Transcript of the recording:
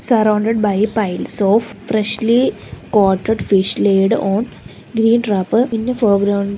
surrounded by piles of freshly caughted fish laid on green wrapper in the foreground.